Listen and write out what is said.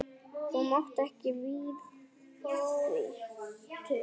Þau máttu ekki við því.